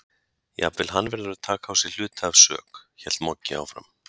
Jafnvel hann verður að taka á sig hluta af sök, hélt Moggi áfram.